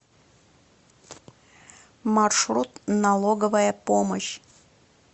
маршрут налоговая помощь